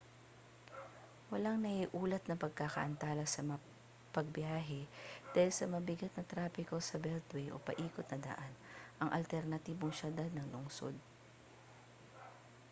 walang naiulat na pagkaantala sa pagbiyahe dahil sa mabigat na trapiko sa beltway o paikot na daan ang alternatibong siyudad ng lungsod